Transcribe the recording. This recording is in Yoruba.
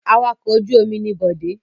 Awakọ̀ ojú-omi ni Bọ̀dé.